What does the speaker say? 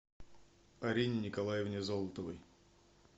арине николаевне золотовой